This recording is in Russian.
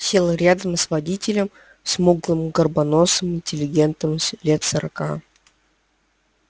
сел рядом с водителем смуглым горбоносым интеллигентом лет сорока